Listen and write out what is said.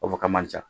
O b'a fɔ k'a man ca